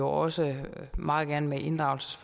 også meget gerne med inddragelse